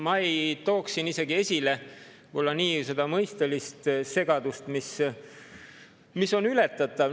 Ma ei tooks siin isegi esile võib-olla niivõrd seda mõistelist segadust, mis on ületatav.